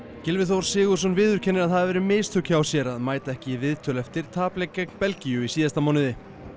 Gylfi Þór Sigurðsson viðurkennir að það hafi verið mistök hjá sér að mæta ekki í viðtöl eftir gegn Belgíu í síðasta mánuði